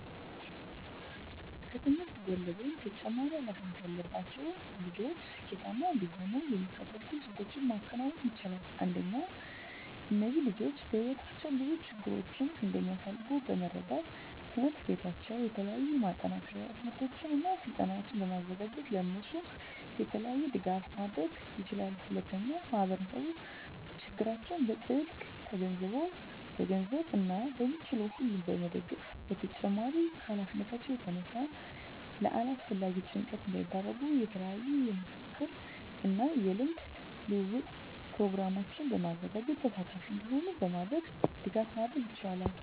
ከትምህርት ጎን ለጎን ተጨማሪ ሀላፊነት ያለባቸው ልጆች ስኬታማ እንዲሆኑ የሚከተሉትን ስልቶች ማከናወን ይቻላል። አንደኛ እነዚህ ልጆች በህይወታቸው ብዙ ችግሮችን እንደሚያሳልፍ በመረዳት ትምሕርት ቤታቸው የተለያዩ የማጠናከሪያ ትምህርቶችን እና ስልጠናዎችን በማዘጋጀት ለእነሱ የተለየ ድጋፍ ማድረግ ይችላል። ሁለተኛ ማህበረሰቡ ችግራቸውን በጥልቀት ተገንዝቦ በገንዘብ እና በሚችለው ሁሉ መደገፍ በተጨማሪም ከሀላፊነታቸው የተነሳ ለአላስፈላጊ ጭንቀት እንዳይዳረጉ የተለያዩ የምክክር እና የልምድ ልውውጥ ፕሮግራሞችን በማዘጋጀት ተሳታፊ እንዲሆኑ በማድረግ ድጋፍ ማድረግ ይቻላል።